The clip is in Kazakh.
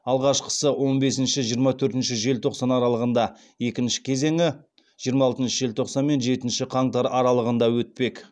алғашқысы он бесінші жиырма төртінші желтоқсан аралығында екінші кезеңі жиырма алтыншы желтоқсан мен жетінші қаңтар аралығында өтпек